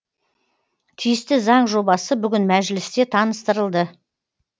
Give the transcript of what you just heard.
тиісті заң жобасы бүгін мәжілісте таныстырылды